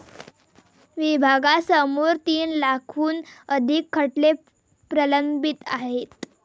विभागासमोर तीन लाखाहून अधिक खटले प्रलंबित आहेत.